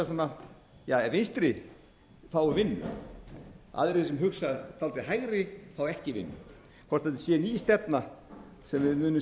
svona vinstri fái vinnu aðrir sem hugsa til hægri fá ekki vinnu hvort þetta sé ný stefna sem